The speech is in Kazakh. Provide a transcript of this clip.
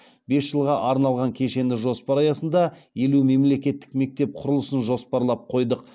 бес жылға арналған кешенді жоспар аясында елу мемлекеттік мектеп құрылысын жоспарлап қойдық